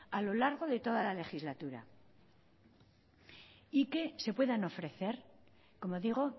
a lo largo de toda la legislatura y que se puedan ofrecer como digo